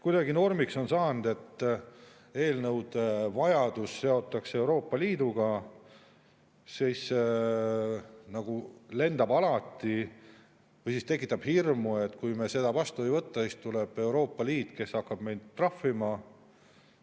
Kuidagi normiks on saanud, et eelnõude vajadus seotakse Euroopa Liiduga: alati hirm, et kui me seda vastu ei võta, siis tuleb Euroopa Liit, kes hakkab meid trahvima.